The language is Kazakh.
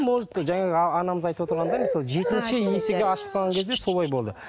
может анамыз айтып отырғандай мысалы жетінші есігі ашық тұрған кезде солай болды